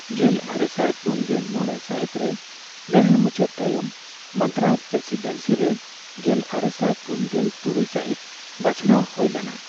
ᱜᱮᱞᱟᱨᱮᱥᱟᱭ ᱯᱩᱱᱜᱮᱞ ᱢᱚᱲᱮ ᱥᱟᱹᱦᱤᱛ ᱨᱮ ᱞᱟᱹᱲᱦᱟᱹᱭ ᱢᱩᱪᱟᱹᱫ ᱛᱟᱭᱚᱢ, ᱢᱟᱫᱽᱫᱨᱟᱡᱽ ᱯᱨᱮᱥᱤᱰᱮᱱᱥᱤ ᱨᱮ ᱜᱮᱞᱟᱨᱮᱥᱟᱭ ᱯᱩᱱᱜᱮᱞ ᱛᱩᱨᱩᱭ ᱥᱟᱹᱦᱤᱛ ᱵᱟᱪᱷᱱᱟᱣ ᱦᱳᱭ ᱞᱮᱱᱟ ᱾